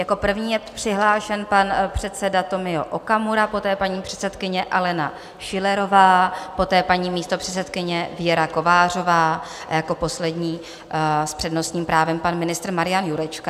Jako první je přihlášen pan předseda Tomio Okamura, poté paní předsedkyně Alena Schillerová, poté paní místopředsedkyně Věra Kovářová a jako poslední s přednostním právem pan ministr Marian Jurečka.